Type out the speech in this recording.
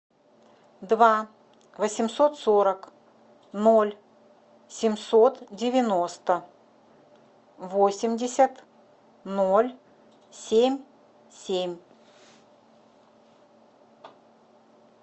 два восемьсот сорок ноль семьсот девяносто восемьдесят ноль семь семь